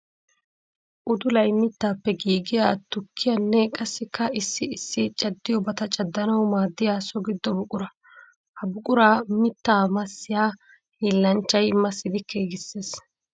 Uddulay mittappe giiggiya tukkiyanne qassikka issi issi caddiyobatta caddanawu maadiya so gido buqura. Ha buqura mitta massiya hiillanchchay massidi giigiseessi.